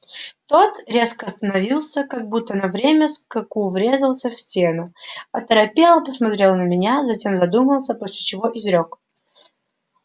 тот резко остановился как будто на время скаку врезался в стену оторопело посмотрел на меня затем задумался после чего изрёк